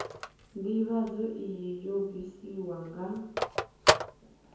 ndivhadzo iyi yo bvisiwa nga